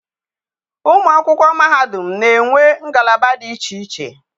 Ụmụ akwụkwọ mahadum na-enwe ngalaba dị iche iche.